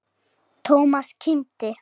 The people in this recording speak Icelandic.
Thomas kímdi.